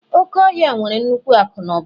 Oke ọhịa nwere nnukwu akụ na ụba